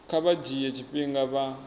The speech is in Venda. kha vha dzhie tshifhinga vha